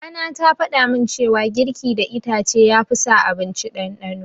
Mama na ta faɗamin cewa girki da itace ya fi sa abinci ɗanɗano